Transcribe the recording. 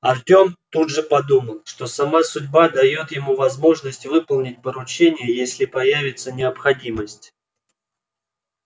артём тут же подумал что сама судьба даёт ему возможность выполнить поручение если появится необходимость